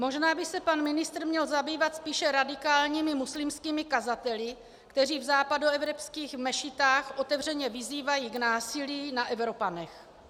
"Možná by se pan ministr měl zabývat spíše radikálními muslimskými kazateli, kteří v západoevropských mešitách otevřeně vyzývají k násilí na Evropanech."